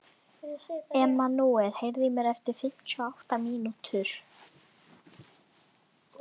Emmanúel, heyrðu í mér eftir fimmtíu og átta mínútur.